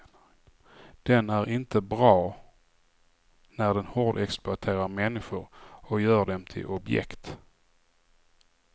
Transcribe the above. Den är inte bra när den hårdexploaterar människor och gör dem till objekt.